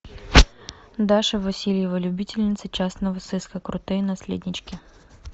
даша васильева любительница частного сыска крутые наследнички